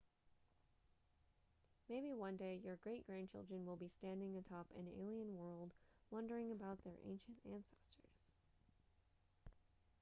maybe one day your great grandchildren will be standing atop an alien world wondering about their ancient ancestors